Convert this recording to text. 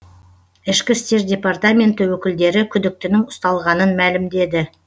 ішкі істер департаменті өкілдері күдіктінің ұсталғанын мәлімдеді